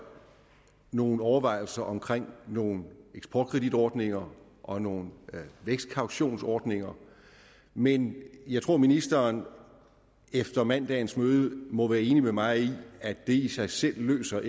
nogle overvejelser omkring nogle eksportkreditordninger og nogle vækstkautionsordninger men jeg tror ministeren efter mandagens møde må være enig med mig i at det i sig selv ikke løser